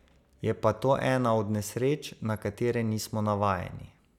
Je pa to ena od nesreč, na katere nismo navajeni.